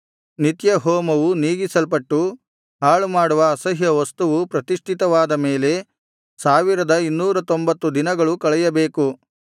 ನಿತ್ಯಹೋಮವು ನೀಗಿಸಲ್ಪಟ್ಟು ಹಾಳುಮಾಡುವ ಅಸಹ್ಯ ವಸ್ತುವು ಪ್ರತಿಷ್ಠಿತವಾದ ಮೇಲೆ ಸಾವಿರದ ಇನ್ನೂರತ್ತೊಂಭತ್ತು ದಿನಗಳು ಕಳೆಯಬೇಕು